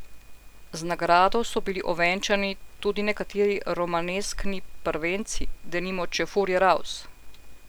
Z nagrado so bili ovenčani tudi nekateri romaneskni prvenci, denimo Čefurji raus!